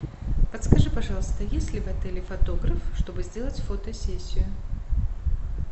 подскажи пожалуйста есть ли в отеле фотограф чтобы сделать фотосессию